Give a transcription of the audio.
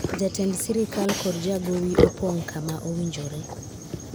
jatend sirikal kod jagowi opong' kama owinjore